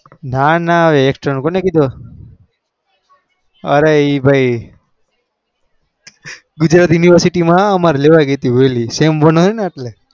ના ના external કોને કીધું અરે એ ભાઈ ગુજરાત university માં લેવાઈ ગઈ તી વેલી